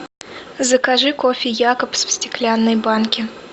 закажи кофе якобс в стеклянной банке